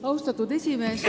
Austatud esimees!